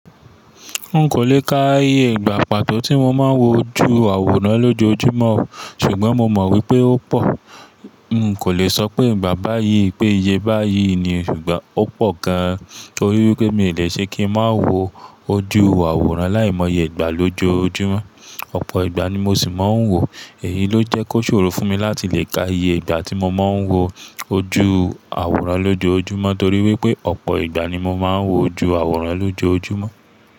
Hun kò le ka iye ìgbà pàtó tí mo máa ń wo ojú àwòrán lójoojúmọ́, ṣùgbọ́n mo mọ̀ wípé ó pọ̀. Hun kò le sọ pé ìgbà báyìí, pé iye báyìí ni ṣùgbọ́n ó pọ̀ gan-an torí wípé mi ò le ṣe kí ń má wo ojú àwòrán láìmọye ìgbà lójoojúmọ́. Ọ̀pọ̀ ìgbà ni mo sì máa ń wòo, èyí ló jẹ́ kó ṣòro fún mi láti lè ka iye ìgbà tí mo máa ń wo ojú àwòrán lójoojúmọ́ torí wípé ọ̀pọ̀ ìgbà ni mo máa ń wo ojú àwòrán lójoojúmọ́.